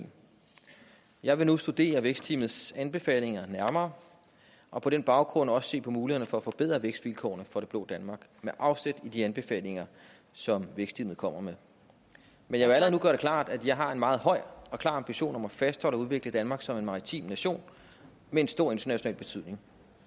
jeg vil nu studere vækstteamets anbefalinger nærmere og på den baggrund også se på mulighederne for at forbedre vækstvilkårene for det blå danmark med afsæt i de anbefalinger som vækstteamet kommer med men jeg vil allerede klart at jeg har en meget høj og klar ambition om at fastholde og udvikle danmark som en maritim nation med en stor international betydning